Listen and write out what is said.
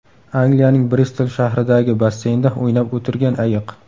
Angliyaning Bristol shahridagi basseynda o‘ynab o‘tirgan ayiq.